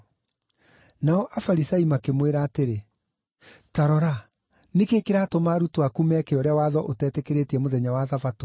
Nao Afarisai makĩmwĩra atĩrĩ, “Ta rora, nĩ kĩĩ kĩratũma arutwo aku meke ũrĩa watho ũtetĩkĩrĩtie mũthenya wa Thabatũ?”